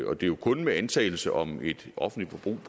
og det er jo kun med antagelse om et offentligt forbrug